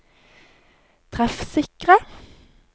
treffsikre